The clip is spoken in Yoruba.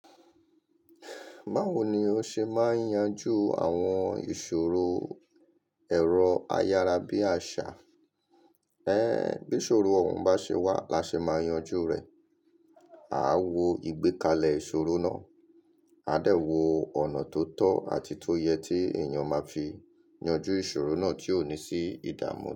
Báwo ni ó ṣe máa yanjú àwọn ìṣòro ẹ̀rọ ayárabíàṣá? Ẹhn, bí ìṣòro ọ̀ hun bá ṣe wà la ṣe máa yanjú rẹ̀. Aa wo ìgbékalẹ̀ ìṣòro náà, a dẹ̀ wo ọ̀nà tó tọ́ àti iyi tó yẹ tí èyàn máa fi yanjú ìṣòro náà tio dẹ̀ ní sí ida mu.